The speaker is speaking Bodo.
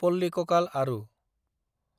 पाल्लिककाल आरु